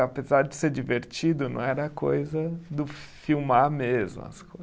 Apesar de ser divertido, não era coisa do filmar mesmo as